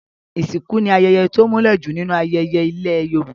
Ìsìnkú ni ayẹyẹ to múlẹ̀ jù nínú ayẹyẹ ilẹ̀ Yorùbá.